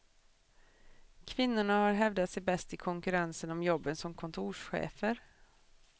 Kvinnorna har hävdat sig bäst i konkurrensen om jobben som kontorschefer.